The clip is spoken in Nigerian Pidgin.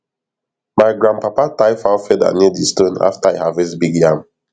my grandpapa tie fowl feather near di stone after e harvest big yam